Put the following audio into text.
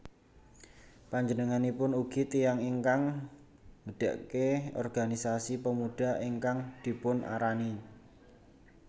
Panjenenganipun ugi tiyang ingkang ngedekke organisasi Pemuda ingkang dipunarani